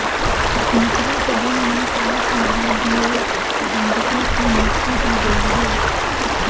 निचले सदन ने सात महाभियोग प्रबंधकों की नियुक्ति की गई है